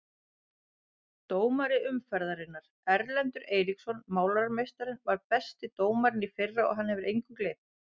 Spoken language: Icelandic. Dómari umferðarinnar: Erlendur Eiríksson Málarameistarinn var besti dómarinn í fyrra og hann hefur engu gleymt.